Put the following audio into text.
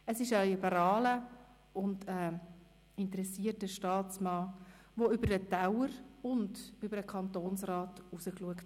Er ist ein liberaler und interessierter Staatsmann, der über den Teller- und über den Kantonsrand hinausblickt.